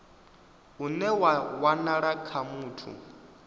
une wa wanala kha muthu